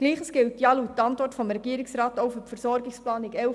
Gleiches gilt an und für sich auch für die Versorgungsplanung 2011–2014.